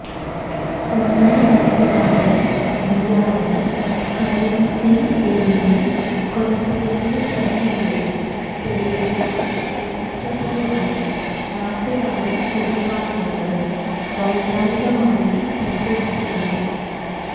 ഒന്നര വയസുകാരൻ വിയാനെ കടൽ ഭിത്തിയിൽ എറിഞ്ഞ് കൊലപ്പെടുത്തിയ ശരണ്യയെ തെളിവെടുപ്പിന് എത്തിച്ചപ്പോഴാണ് നാട്ടുകാരും കുടുംബാംഗങ്ങളും വൈകാരികമായി പ്രതികരിച്ചിരുന്നു